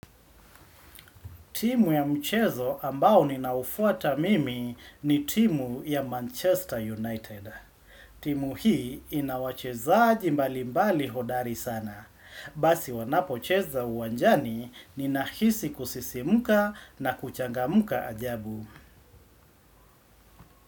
Timu ya mchezo ambao ninaoufuata mimi ni timu ya Manchester United. Timu hii ina wachezaji mbalimbali hodari sana. Basi wanapocheza uwanjani ninahisi kusisimuka na kuchangamka ajabu.